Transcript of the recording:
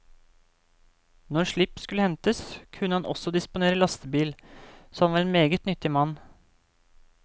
Når slipp skulle hentes, kunne han også disponere lastebil, så han var en meget nyttig mann.